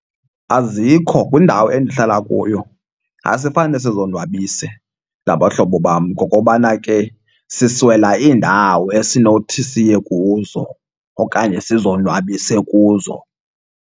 Azikho kwindawo endihlala kuyo. Asifane sizonwabise nabahlobo bam ngokobana ke siswela iindawo esinothi siye kuzo okanye sizonwabise kuzo.